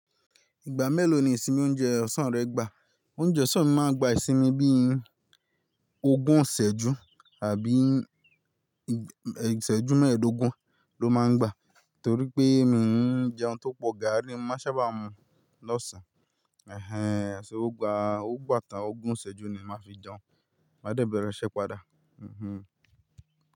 Ìgbà mélòó ni ìsinmi oúnjẹ ọ̀sán rẹ gba? Oúnjẹ ọ̀sán mi máa ń gba ìsinmi bí i ogún ìṣẹ́jú àbí ìṣẹ́jú mẹ́ẹ̀ẹ́dógún ló máa ń gba, torí pé mi ò ń jẹun tó pọ̀, gààrí máṣá bá mu lọ́sàn-án. Ẹ̀hẹn, ṣé ó gba, ó gbà tán ogún ìṣẹ́jú ni màá fi jẹun. Máa dẹ̀ bẹ̀rẹ̀ iṣẹ́ padà. Mhmm.